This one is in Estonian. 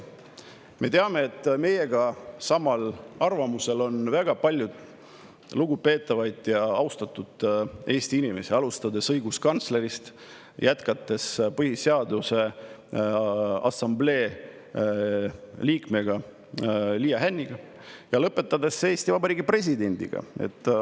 Me teame, et meiega samal arvamusel on väga palju lugupeetavaid ja austatud Eesti inimesi, alustades õiguskantslerist, jätkates Põhiseaduse Assamblee liikme Liia Hänniga ja lõpetades Eesti Vabariigi presidendiga.